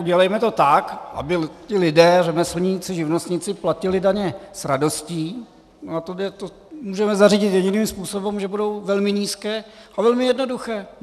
Udělejme to tak, aby ti lidé - řemeslníci, živnostníci - platili daně s radostí, a to můžeme zařídit jediným způsobem, že budou velmi nízké a velmi jednoduché.